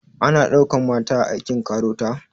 Ana ɗaukan mata a aikin KAROTA?